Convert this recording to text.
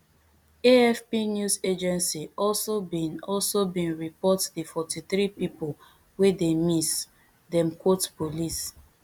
afp news agency also bin also bin report di forty-three pipo wey dey miss dem quote police